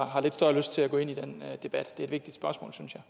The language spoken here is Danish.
har lidt større lyst til at gå ind i den debat det er vil